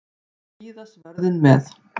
Og víða svörðinn með.